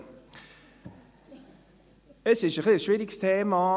Es ist ein bisschen ein schwieriges Thema.